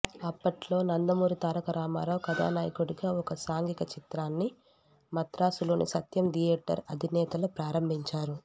అప్పట్లో నందమూరి తారక రామారావు కథానాయకుడిగా ఒక సాంఘిక చిత్రాన్ని మద్రాసులోని సత్యం థియేటర్ అధినేతలు ప్రారంభించారు